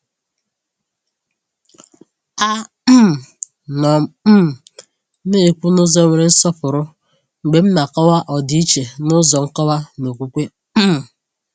A um nọ m um na-ekwu n’ụzọ nwere nsọpụrụ mgbe m na-akọwa ọdịiche n’ụzọ nkọwa na okwukwe. um